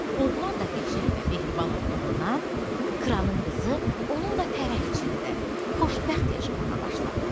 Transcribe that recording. Oğlan da qəşəng və mehriban olduğundan, kralın qızı onunla fərəh içində xoşbəxt yaşamağa başladı.